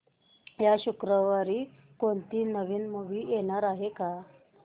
या शुक्रवारी कोणती नवी मूवी येणार आहे का